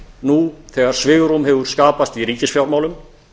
nú þegar svigrúm hefur skapast í ríkisfjármálum